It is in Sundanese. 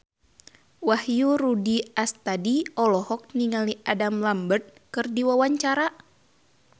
Wahyu Rudi Astadi olohok ningali Adam Lambert keur diwawancara